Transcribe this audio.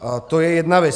To je jedna věc.